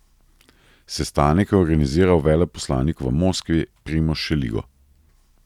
Sestanek je organiziral veleposlanik v Moskvi Primož Šeligo.